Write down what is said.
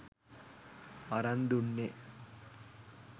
අරන් දුන්නෙ.